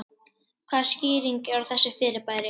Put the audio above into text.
Hvaða skýring er á þessu fyrirbæri?